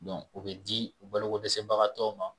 Dɔn o be di u balo ko dɛsɛbagatɔw ma